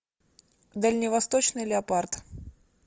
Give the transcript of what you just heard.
дальневосточный леопард